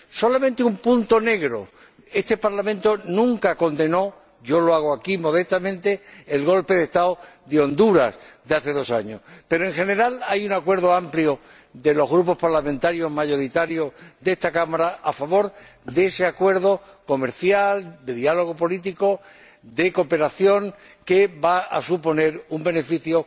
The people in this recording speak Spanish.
Solamente un punto negro este Parlamento nunca condenó —yo lo hago aquí, modestamente— el golpe de Estado de Honduras de hace dos años. Pero, en general, hay un acuerdo amplio de los grupos mayoritarios de esta Cámara a favor de este acuerdo comercial, de diálogo político y de cooperación, que va a suponer un beneficio